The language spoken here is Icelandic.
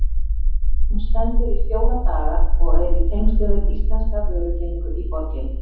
Hún stendur í fjóra daga og er í tengslum við íslenska vörukynningu í borginni.